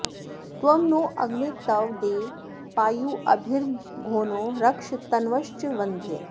त्वं नो अग्ने तव देव पायुभिर्मघोनो रक्ष तन्वश्च वन्द्य